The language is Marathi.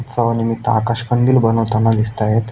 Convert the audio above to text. उत्सवा निमित्त आकाश कंदील बनवताना दिसताएत.